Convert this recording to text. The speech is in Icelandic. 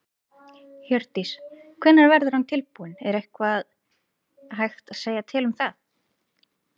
Hjördís: Hvenær verður hann tilbúinn, er eitthvað hægt að segja til um það?